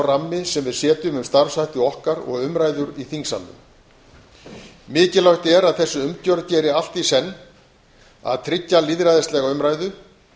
rammi sem við setjum um starfshætti okkar og umræður í þingsalnum mikilvægt er að þessi umgjörð geri allt í senn að tryggja lýðræðislega umræðu